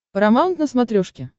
парамаунт на смотрешке